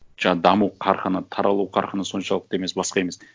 даму қарқыны таралу қарқыны соншалықты емес басқа емес